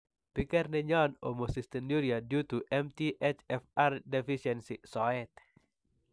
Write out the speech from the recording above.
Piker nenyon "Homocystinuria due to MTHFR deficiency" soet.